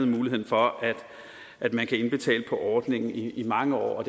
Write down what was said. muligheden for at man kan indbetale på ordningen i mange år og